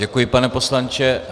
Děkuji, pane poslanče.